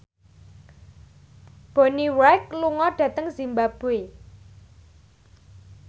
Bonnie Wright lunga dhateng zimbabwe